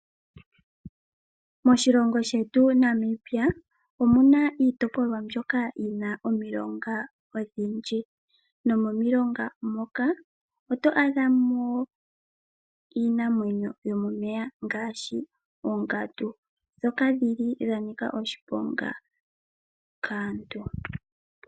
Moshilongo shetu Namibia omu na iitopolwa mbyoka yi na omilonga odhindji nomomilonga moka oto adha mo iinamwenyo yomomeya ngaashi ongandu. Oongandu odha nika oshiponga kaantu.